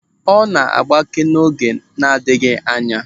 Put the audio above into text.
Ọ na-agbake n'oge na-adịghị anya.